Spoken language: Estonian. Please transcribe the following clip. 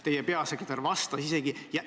Teie peasekretär isegi vastas.